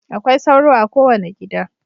Akwai sauro a kowane gida.